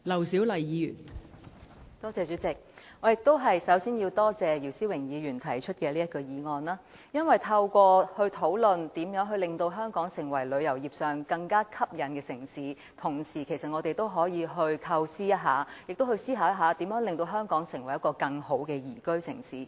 代理主席，首先，我也要感謝姚思榮議員動議這項議案，因為透過討論如何令香港成為更具吸引力的旅遊城市，我們其實可思考一下如何令香港成為一個更好的宜居城市。